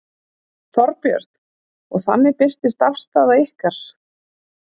Þorbjörn: Og þannig birtist afstaða ykkar?